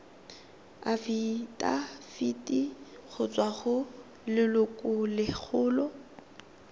afitafiti go tswa go lelokolegolo